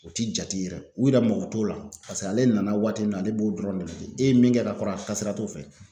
U ti jate u yɛrɛ mago t'o la ale nana waati min na ale b'o dɔrɔn de ye e ye min kɛ ka fara a ka sira t'o fɛ